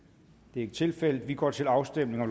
det er ikke tilfældet og vi går til afstemning